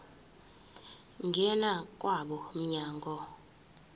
ngena kwabo mnyango